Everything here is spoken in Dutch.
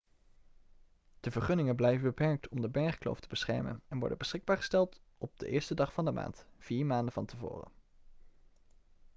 de vergunningen blijven beperkt om de bergkloof te beschermen en worden beschikbaar gesteld op de 1e dag van de maand vier maanden van tevoren